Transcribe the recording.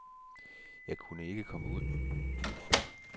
Jeg kunne ikke komme ud.